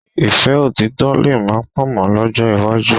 Ìfẹ́ òtítọ̀ lè má pọ̀ mọ́ lọ́jọ́ iwájú